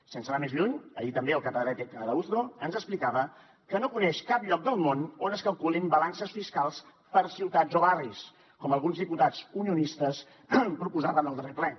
sense anar més lluny ahir també el catedràtic arauzo ens explicava que no coneix cap lloc del món on es calculin balances fiscals per ciutats o barris com alguns diputats unionistes proposaven al darrer ple